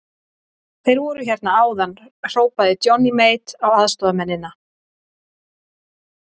Þeir voru hérna áðan, hrópaði Johnny Mate á aðstoðarmennina.